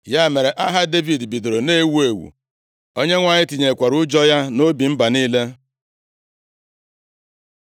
Ya mere, aha Devid bidoro na-ewu ewu; Onyenwe anyị tinyekwara ụjọ ya nʼobi mba niile.